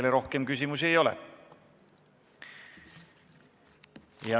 Teile rohkem küsimusi ei ole.